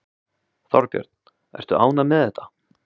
Þorbjörn: Ertu ánægð með þetta?